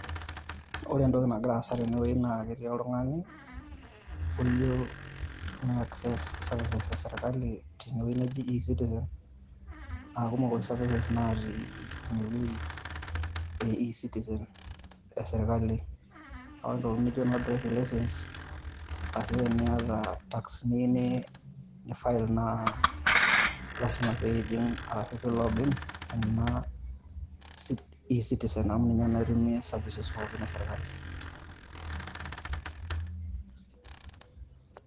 Ore entoki nagira aasa tenewei naa ketii oltung'ani, oyieu ne access services esirkali tenewei neji e-citizen, akumok isavises natii inewei e e-citizen esirkali. Ore ntokiting' nijo noo driving licence ashu eniata tax niyieu ni file naa, lasima pijing' arashu pi log in ,ena e-citizen amu ninye naa itumie services pookin esirkali.